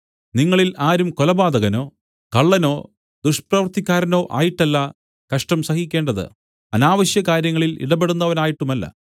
നിങ്ങളിൽ ആരും കൊലപാതകനോ കള്ളനോ ദുഷ്പ്രവൃത്തിക്കാരനോ ആയിട്ടല്ല കഷ്ടം സഹിക്കേണ്ടത് അനാവശ്യകാര്യങ്ങളിൽ ഇടപെടുന്നവനായിട്ടുമല്ല